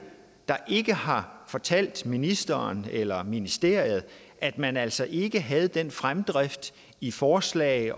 der ikke har fortalt ministeren eller ministeriet at man altså ikke havde den fremdrift i forslag